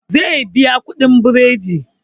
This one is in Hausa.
Zai biya kuɗin biredi